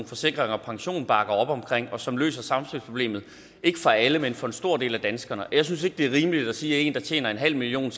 forsikring pension bakker op om og som løser samspilsproblemet ikke for alle men for en stor del af danskerne og jeg synes ikke det er rimeligt at sige at en der tjener en halv million